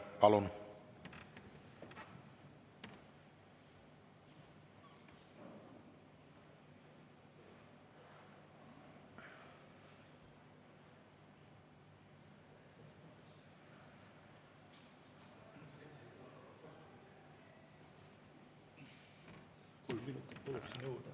Palun!